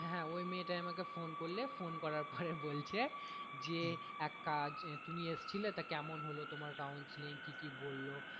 হ্যাঁ ওই মেয়েটাই আমাকে phone করলে phone করার পরে বলছে যে এক কাজ তুমি এসেছিলে তা কেমন হলো তোমার counselling কি কি বললো।